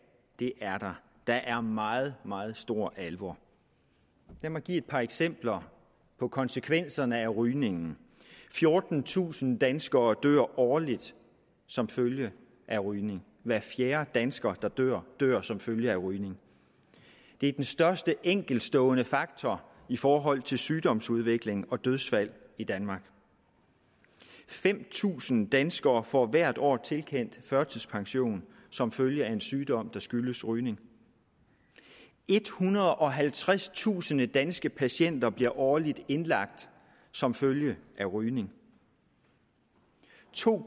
det er der der er meget meget stor alvor lad mig give et par eksempler på konsekvenserne af rygning fjortentusind danskere dør årligt som følge af rygning hver fjerde dansker der dør dør som følge af rygning det er den største enkeltstående faktor i forhold til sygdomsudvikling og dødsfald i danmark fem tusind danskere får hvert år tilkendt førtidspension som følge af en sygdom der skyldes rygning ethundrede og halvtredstusind danske patienter bliver årligt indlagt som følge af rygning to